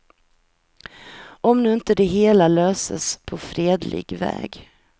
Om nu inte det hela löses på fredlig väg.